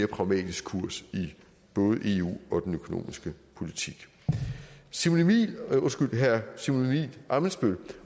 pragmatisk kurs både i eu og i den økonomiske politik herre simon emil ammitzbøll